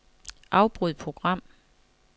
Afbryd program.